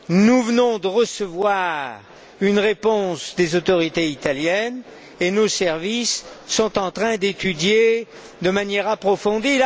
Nous venons de recevoir une réponse des autorités italiennes, que nos services sont en train d'étudier de manière approfondie.